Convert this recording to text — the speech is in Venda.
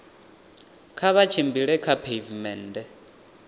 kha vha tshimbile kha pheivimennde